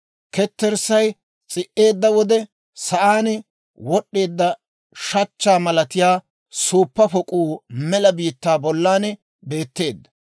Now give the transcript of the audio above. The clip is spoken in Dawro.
Ketterssay s'i"eedda wode, sa'aan wod'd'eedda shachchaa malatiyaa suuppa pok'uu mela biittaa bollan beeteedda.